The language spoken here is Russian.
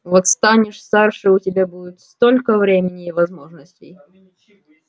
вот станешь старше у тебя будет столько времени и возможностей